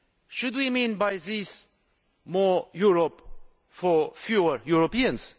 Should we mean by this more Europe for fewer Europeans?